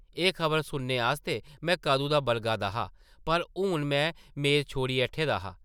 एह् खबर सुनने आस्तै में कदूं दा बलगा दा हा पर हून में मेद छोड़ी ऐठे दा हा ।